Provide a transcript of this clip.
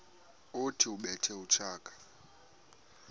othi ubethe utshaka